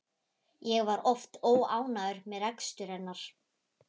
Ég var oft óánægður með rekstur hennar.